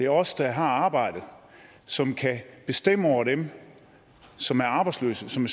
os der har arbejdet som kan bestemme over dem som er arbejdsløse som